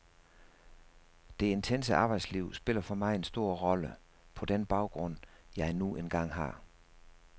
Det intense arbejdsliv spiller for mig en stor rolle, på den baggrund jeg nu engang har.